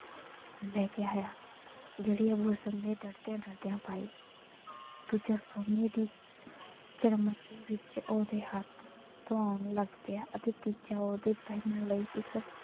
ਲੈ ਕੇ ਆਇਆ ਜਿਹੜੀ ਅੱਬੂ ਹਸਨ ਨੇ ਡਰਦਿਆਂ ਡਰਦਿਆਂ ਪਾਈ, ਦੂਜਾ ਸੋਨੇ ਦੀ ਚਰਮਚੀ ਵਿੱਚ ਓਹਦੇ ਹੱਥ ਧੋਣ ਲੱਗ ਪਿਆ ਅਤੇ ਤੀਜਾ ਉਹਦੇ ਪਹਿਨਣ ਲਈ ਇੱਕ,